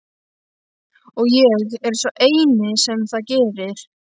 Og ég er sá eini sem það gerir.